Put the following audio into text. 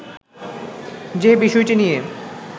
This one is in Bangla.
যে বিষয়টি নিয়ে